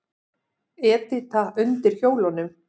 Edita undir hjólunum.